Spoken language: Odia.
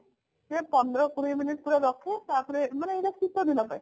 ସିଏ ପନ୍ଦର କୋଡିଏ minute ପୁରା ରଖେ ତାପରେ ମାନେ ଏଟା ଶୀତଦିନ ପାଇଁ